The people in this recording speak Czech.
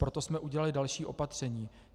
Proto jsme udělali další opatření.